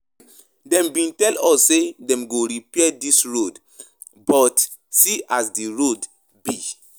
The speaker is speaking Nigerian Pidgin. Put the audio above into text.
Dem bin tell us sey dem go repair dis road but see as di road be.